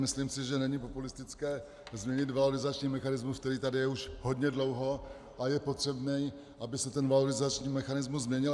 Myslím si, že není populistické změnit valorizační mechanismus, který tady už je hodně dlouho, a je potřebné, aby se ten valorizační mechanismus změnil.